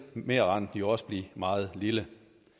merrenten jo også blive meget lille